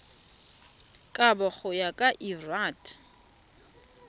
kabo go ya ka lrad